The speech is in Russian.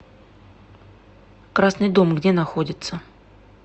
красный дом где находится